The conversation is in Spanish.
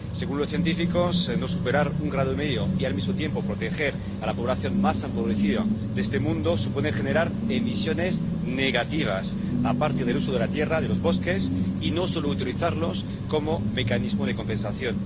Según los científicos, no superar un grado y medio y, al mismo tiempo, proteger a la población más empobrecida de este mundo supone generar emisiones negativas, aparte del uso de la tierra y de los bosques, que no solo hay que utilizar como mecanismo de compensación.